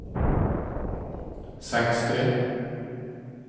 sextio